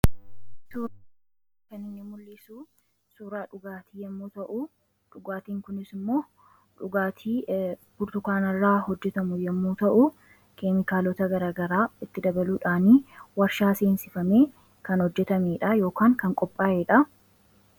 Suuraa kun kan inni mul'isu suuraa dhugaatii yommuu ta'u, dhugaatiin kunis immoo dhugaatii burtukaanarraa hojjetamu yommuu ta'u, keemikaalota gara garaa itti dabaluudhaani waarshaa seensifamee kan hojjetamedha yookaan kan qophaa'edha.